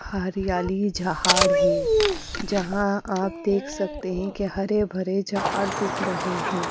हरियाली झाड़ है जहां आप देख सकते हैं कि हरे भरे झाड़ दिख रहें हैं।